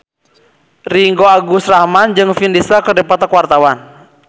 Ringgo Agus Rahman jeung Vin Diesel keur dipoto ku wartawan